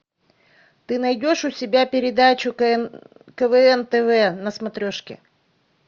ты найдешь у себя передачу квн тв на смотрешке